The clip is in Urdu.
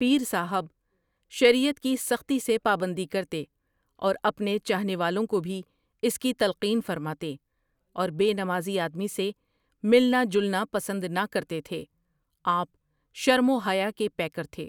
پیر صاحب ؒ شریعت کی سختی سے پابندی کرتے اور اپنے چاہنے والوں کو بھی اس کی تلقین فرماتے اور بے نمازی آدمی سے ملنا جلنا پسند نہ کرتے تھے آپؒ شرم و حیا کے پیکر تھے ۔